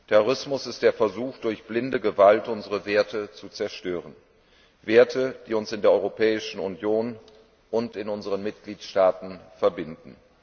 Terrorismus ist der Versuch, durch blinde Gewalt unsere Werte zu zerstören, Werte, die uns in der Europäischen Union und in unseren Mitgliedstaaten verbinden.